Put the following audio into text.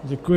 Děkuji.